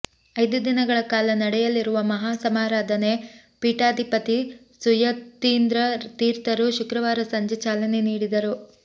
ಐದು ದಿನಗಳ ಕಾಲ ನಡೆಯಲಿರುವ ಮಹಾ ಸಮಾರಾಧನೆ ಪೀಠಾಧಿಪತಿ ಸುಯತೀಂದ್ರ ತೀರ್ಥರು ಶುಕ್ರವಾರ ಸಂಜೆ ಚಾಲನೆ ನೀಡಿದರು